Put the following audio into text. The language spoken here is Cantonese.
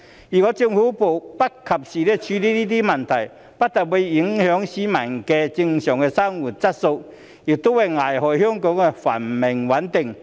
如果政府不及時處理這些問題，不但會影響市民的正常生活質素，亦會危害香港的繁榮穩定。